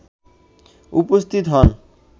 উপস্থিত হন